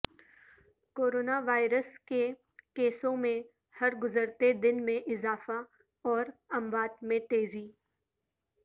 corona virus کے کیسوں میںہرگزرتے دن میں اضافہ اور اموات میں تیزی